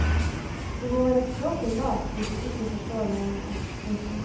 Du må være språklig lat hvis du ikke forstår meningen. punktum